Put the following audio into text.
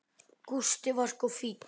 Gústi var sko fínn.